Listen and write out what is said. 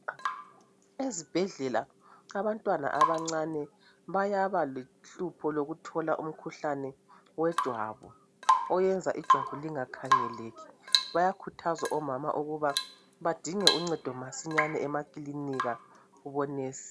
Ezibhedlela abantwana abancane bayaba lohlupho lokuthola umkhuhlane wejwabu oyenza ijwabu lingakhangeleki, bayakhuthazwa omama ukuba badinge uncedo masinyane emakilinika kubo"nurse".